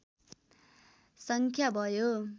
सङ्ख्या भयो